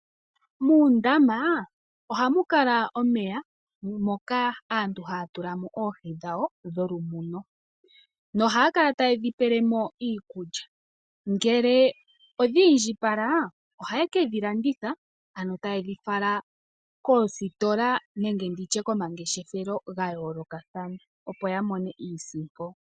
Muundama oha mu kala omeya naantu ohaa tulamo oohi dhawo dholumuno. Ohaya kala ta yedhi pelemo iikulya. Uuna dha indjipala oha yedhi landithapo koositola nenge komangeshefelo ga yoolokathana opo yi imonene iisimpo.